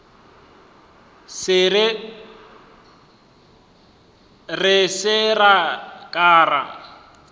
re se ra ka ra